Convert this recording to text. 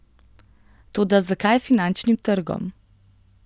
Toda zakaj finančnim trgom?